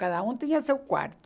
Cada um tinha seu quarto.